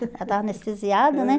Ela estava anestesiada, né?